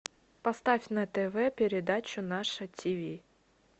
поставь на тв передачу наше ти ви